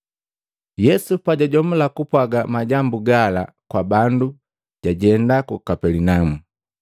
Yesu pajajomula kupwaga majambu gala kwa bandu, jajenda ku Kapelinaumu.